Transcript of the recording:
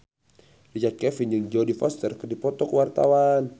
Richard Kevin jeung Jodie Foster keur dipoto ku wartawan